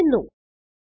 നീക്കം ചെയ്യുന്നു